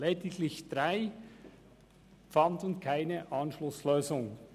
Lediglich drei fanden keine Anschlusslösung.